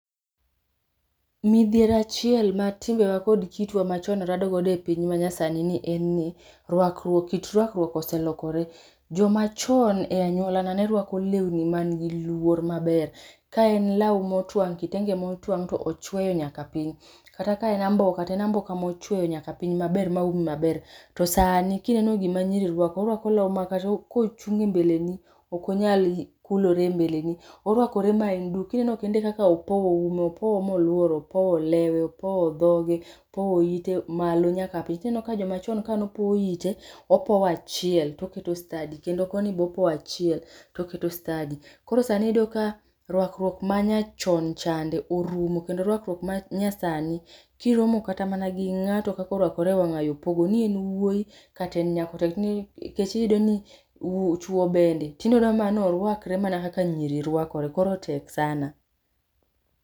Midhiero achiel ma timbewa kod kitwa machon rado godo e piny manyasani en ni, rwakruok, kit rwakruok oselokore. Jomachon e anyuolana nerwako lewni man gi luor maber. Ka en law motuang', kitege motuang' to ochweyo nyaka piny, kata ka en amboka to en amboka mochweyo nyaka piny maber maumi maber. To sani kineno gima nyiri rwako, orwako law ma kata kuchung' e mbele ni ok onyal kulore e mbele ni. Orwakore ma en duk, kineno kende kaka opowo ume, opowo molworo, opowo lewe, opowo dhoge, opowo ite malo nyaka piny ti neno ka jomachon kanopowo ite, opowo achiel toketo stadi kendo koni bopowo achiel toketo stadi. Koro sani iyudo ka rwakruok ma nyachon chande orumo kendo rwakruok ma nyasani, kiromo kata gi ng'ato kaka orwakore e wang'ayo, pogo ni en wuoyi kata en nyako tek ni kech iyude ni chuo bende tinde oneno mana norwakre mana kaka nyiri rwakore koro tek sana